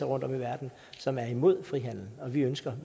rundtom i verden som er imod frihandel og vi ønsker